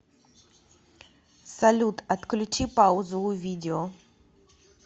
салют отключи паузу у видео